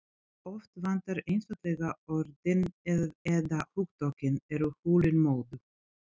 Oft vantar einfaldlega orðin- eða hugtökin eru hulin móðu.